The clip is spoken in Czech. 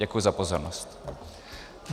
Děkuji za pozornost.